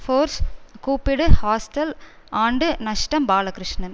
force கூப்பிடு hostel ஆண்டு நஷ்டம் பாலகிருஷ்ணன்